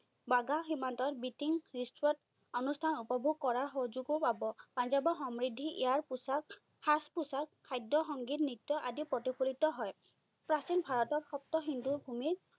ৱাগা সীমান্তত beating retreat অনুস্থান উপভোগ কৰা সুযোগও পাব। পাঞ্জাৱৰ সমৃদ্ধি, ইয়াৰ পোছাক, সাজ-পোছাক, খাদ্য, সংগীত, নৃত্য, আদি প্ৰতিফলিত হয়। প্ৰাচীন ভাৰতৰ সপ্ত সিন্ধুৰ ভুমি